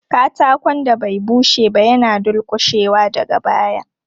Katakon da bai bushe ba yana dulƙushewa daga baya.